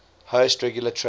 host regular trade